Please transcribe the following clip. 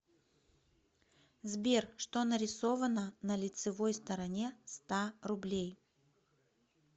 сбер что нарисовано на лицевой стороне ста рублей